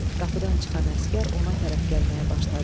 Qapıdan çıxan əsgər ona tərəf gəlməyə başladı.